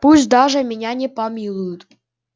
пусть даже меня не помилуют